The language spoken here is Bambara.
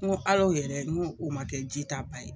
N ko hal'o yɛrɛ n k'o ma kɛ jita ba ye.